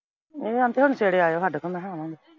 ਇਹਦੇ ਅੰਕਲ ਨੇ ਛੇੜਿਆ ਸਾਡੇ ਕੋਲ ਮਖਾਂ ਆਉਣ ਨੂੰ।